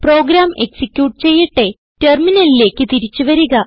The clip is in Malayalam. പ്രോഗ്രാം എക്സിക്യൂട്ട് ചെയ്യട്ടെ ടെർമിനലിലേക്ക് തിരിച്ചു വരിക